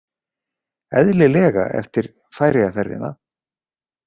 Eðlilega eftir Færeyjaferðina.